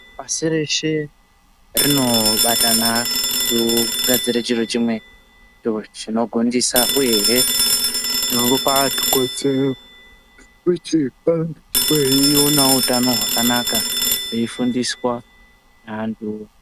Pashi reshe rinobatana kugadzirisa chiro chimwe ochi chinogondisa uye hee nekupa vantu kodzero kuti vange veiona wo utano hwakanaka veyi fundiswa antu.